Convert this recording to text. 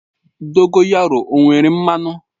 Dogoyaru o nwere mmanụ?